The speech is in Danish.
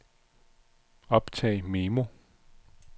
optag memo